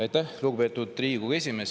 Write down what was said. Aitäh, lugupeetud Riigikogu esimees!